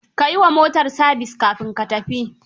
Ka yi wa motar sabis kafin ka tafi.